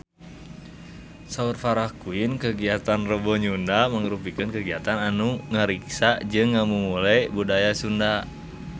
Saur Farah Quinn kagiatan Rebo Nyunda mangrupikeun kagiatan anu ngariksa jeung ngamumule budaya Sunda